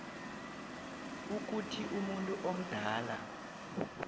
ukuthi umuntu omdala